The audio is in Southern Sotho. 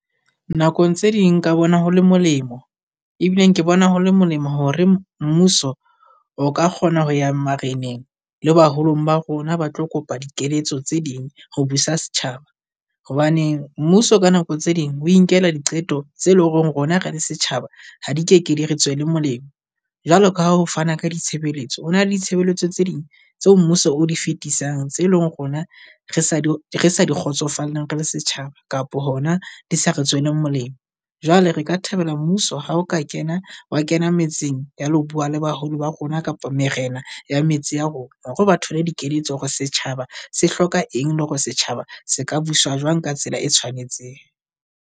Nakong tse ding nka bona ho le molemo ebileng ke bona ho le molemo hore mmuso o ka kgona ho ya mareneng. Le baholong ba rona ba tlo kopa dikeletso tse ding ho busa setjhaba, hobane mmuso ka nako tse ding o inkela diqeto tse leng hore rona re le setjhaba ha di keke di re tswele molemo. Jwalo ka ha ho fana ka ditshebeletso, ho na le ditshebeletso tse ding tseo mmuso o di fetisang tse leng rona re sa di re sa di kgotsofalleng re le setjhaba. Kapo hona di sa re tswele molemo. Jwale re ka thabela mmuso Ha o ka kena wa kena metseng, ya lo bua le baholo ba rona kapo morena ya metse ya rona, hore ba thole dikeletso hore setjhaba se hloka eng le hore setjhaba se ka buswa jwang ka tsela e tshwanetseng.